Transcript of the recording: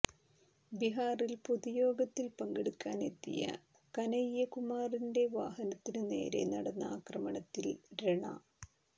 ബിഹാറിൽ പൊതുയോഗത്തിൽ പങ്കെടുക്കാനെത്തിയ കനയ്യകുമാറിന്റെ വാഹനത്തിന് നേരെ നടന്ന ആക്രമണത്തിൽ രണ